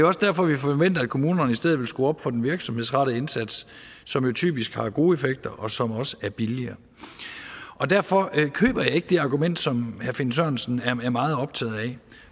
også derfor at vi forventer at kommunerne i stedet vil skrue op for den virksomhedsrettede indsats som jo typisk har gode effekter og som også er billigere derfor køber jeg ikke det argument som herre finn sørensen er meget optaget af